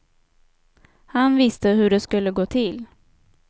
Han visste hur det skulle gå till.